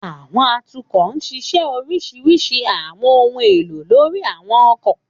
Àwọn atukọ nṣiṣẹ orisirisi àwọn ohun elo lori àwọn ọkọ.